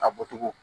A bɔcogo